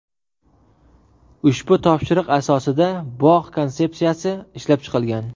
Ushbu topshiriq asosida bog‘ konsepsiyasi ishlab chiqilgan.